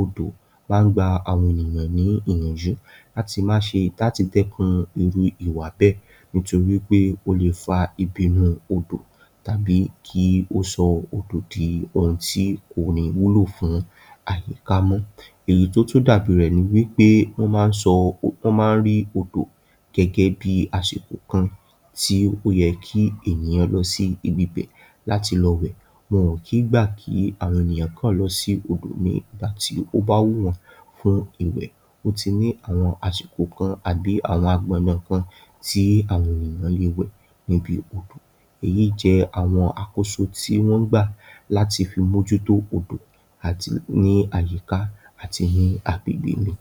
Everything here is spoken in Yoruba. odò máa ń gbà àwọn ènìyàn ní ìyànjú láti má ṣe, láti dẹ́kun irú ìwà bẹ́ torí pé ó lè fà ìbínú odò àbí kí ó sọ odò di ohun tí kò ní wúlò fún àyíká mọ́. Ẹ̀yí tí ò tún dàbí rẹ̀ ni pé wọ́n máa ń rí odò gẹ́gẹ́bí àsìkò kan tí ó yẹ kí ènìyàn lọ sí ibibẹ̀ láti lọ wẹ̀. Wọ́n kì í gba kí àwọn ènìyàn kan lọ sí odò ní ìgbà tí ó bá wù wọ́n fún ìwẹ̀. Ó ti ní àwọn àsìkò kan àbí àwọn àgbòndàn kan tí àwọn ènìyàn lè wẹ̀ níbi odò. Ẹ̀yí jẹ́ àwọn àkóso tí wọ́n gbà láti fi mojú odò àti ní àyíká àti ní agbègbè mi.